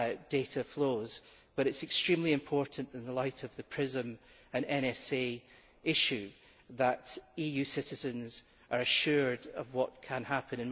data flows, but it is extremely important, in the light of the PRISM and NSA issue, that EU citizens are given assurances as to what can happen.